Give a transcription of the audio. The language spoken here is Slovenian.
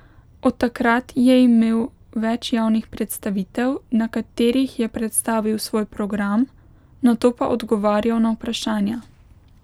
Od takrat je imel več javnih predstavitev, na katerih je predstavil svoj program, nato pa odgovarjal na vprašanja.